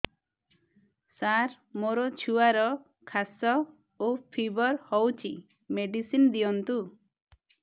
ସାର ମୋର ଛୁଆର ଖାସ ଓ ଫିବର ହଉଚି ମେଡିସିନ ଦିଅନ୍ତୁ